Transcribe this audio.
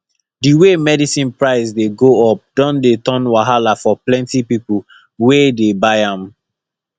di way medicine price dey go up don dey turn wahala for plenty people wey dey buy am